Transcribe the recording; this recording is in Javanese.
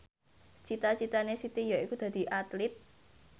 cita citane Siti yaiku dadi Atlit